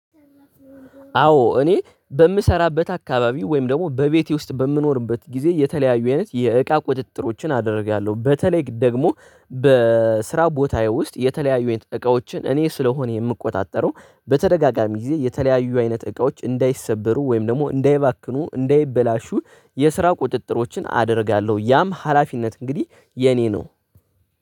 አዎ እኔ በምሰራበት አካባቢ ወይም ደግሞ በቤቴ ውስጥ በምኖርበት ጊዜ የተለያዩ አይነት የእቃ ቁጥጥሮችን አደርጋለሁ። በተለይ ደግሞ በስራ ቦታዬ ውስጥ የተለያዩ እቃዎችን እኔ ስለሆነ የምቆጣጠረው በተደጋጋሚ ጊዜ የተለያዩ አይነት እቃዎች እንዳይሰበሩ ወይም ደግሞ እንዳይባክኑ እንዳይበላሹ የስራ ቁጥጥሮችን አደርጋለሁ። ያም ሀላፊነት እንግዲህ የኔ ነው።